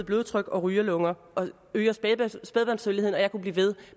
blodtryk og rygerlunger og øger spædbarnsdødeligheden jeg kunne blive ved